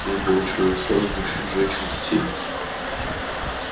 их было человек сорок мужчин женщин детей